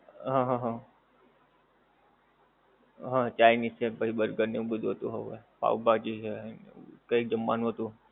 હ હ હ આહ chinese પછી burger ને એવું બધુ હતું પાવભાજી છે કઈ જમવાનું હતું.